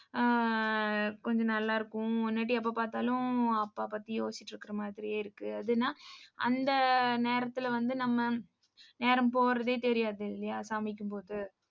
அஹ் கொஞ்சம் நல்லா இருக்கும். முன்னாடி எப்ப பார்த்தாலும் அப்பா பத்தி யோசிச்சிட்டு இருக்கிற மாதிரியே இருக்குஅதுன்னா அந்த நேரத்திலே வந்து நம்ம நேரம் போறதே தெரியாதில்லையா சமைக்கும்போது.